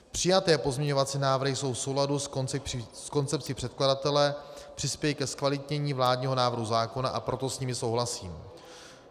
Přijaté pozměňovací návrhy jsou v souladu s koncepcí předkladatele, přispějí ke zkvalitnění vládního návrhu zákona, a proto s nimi souhlasím.